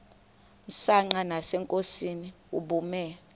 msanqa nasenkosini ubume